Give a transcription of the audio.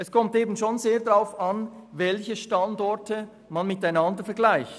Es kommt sehr darauf an, welche Standorte man miteinander vergleicht.